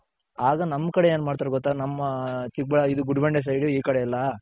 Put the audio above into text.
ಆಗ ನಮ್ ಕಡೆ ಏನ್ ಮಾಡ್ತಾರೆ ಗೊತ್ತ ನಮ್ಮ ಚಿಕ್ ಬಳ್ಳಾ ಇದೆ ಗುದ್ಗುಂಡೆ side ಈ ಕಡೆ ಎಲ್ಲಾ.